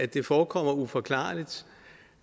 det forekommer uforklarligt